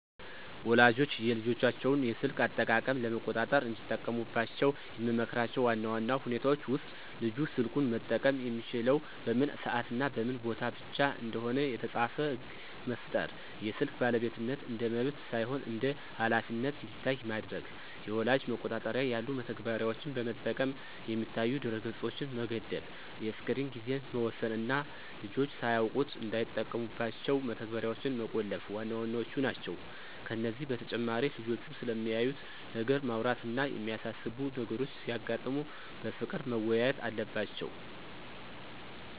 ወላጆች የልጆቻቸውን የስልክ አጠቃቀም ለመቆጣጠር እንዲጠቀሙባቸው የምመክራቸው ዋና ዋና ሁኔታዎች ውስጥ፦ ልጁ ስልኩን መጠቀም የሚችለው በምን ሰዓትና በምን ቦታ ብቻ እንደሆነ የተጻፈ ሕግ መፍጠር፣ የስልክ ባለቤትነት እንደ መብት ሳይሆን እንደ ኃላፊነት እንዲታይ ማድረግ፣ የወላጅ መቆጣጠሪያ ያሉ መተግበሪያዎችን በመጠቀም የሚታዩ ድረ-ገጾችን መገደብ፣ የስክሪን ጊዜን መወሰን እና ልጆች ሳያውቁት እንዳይጠቀሙባቸው መተግበሪያዎችን መቆለፍ ዋና ዋናዎቹ ናቸው። ከዚህ በተጨማሪ ልጆቹ ስለሚያዩት ነገር ማውራት እና የሚያሳስቡ ነገሮች ሲያጋጥሙ በፍቅር መወያየት አለባቸው።